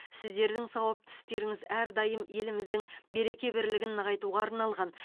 сіздердің сауапты істеріңіз әрдайым еліміздің береке бірлігін нығайтуға арналған